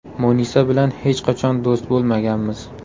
Munisa bilan hech qachon do‘st bo‘lmaganmiz.